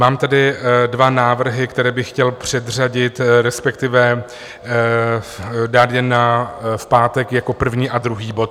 Mám tady dva návrhy, které bych chtěl předřadit, respektive dát je v pátek jako první a druhý bod.